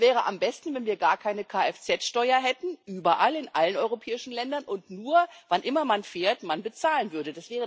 Es wäre am besten, wenn wir gar keine Kfz Steuer hätten, überall in allen europäischen Ländern, und man nur, wann immer man fährt, bezahlen würde.